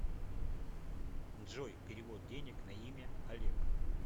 джой перевод денег на имя олег